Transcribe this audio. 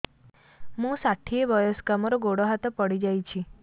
ମୁଁ ଷାଠିଏ ବୟସ୍କା ମୋର ଗୋଡ ହାତ ପଡିଯାଇଛି